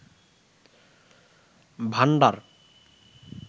ভান্ডার